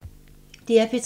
DR P3